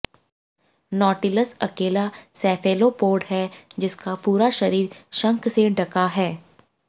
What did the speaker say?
nautilus अकेला cephalopod है जिसका पूरा शरीर शंख से ढका हो